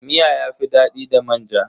Miya yafi dadi da manja.